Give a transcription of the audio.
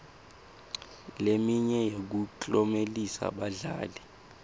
leminye yekuklomelisa badlali